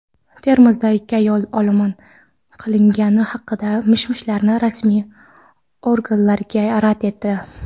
Termizda ikki ayol olomon qilingani haqidagi mish-mishlarni rasmiy organlar rad etdi.